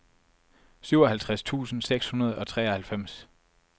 syvoghalvtreds tusind seks hundrede og treoghalvfems